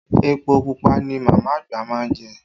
Epo pupa ni màmá àgbà má ń jẹ